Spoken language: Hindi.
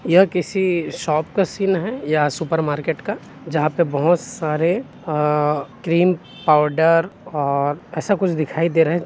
यह किसी शॉप का सिन है या सुपर मार्केट का जहाँ पे बोहोत सारे अ क्रीम पाउडर और ऐसा कुछ दिखाई दे रहा है ।